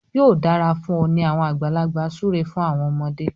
yóò dára fún ọ ni awọn àgbàlagbà súré fún àwọn ọmọde.